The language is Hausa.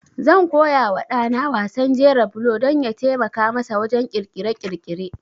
Zan koya wa ɗa na wasan jera bulo don ya taimaka masa wajen ƙirƙire-ƙirƙire.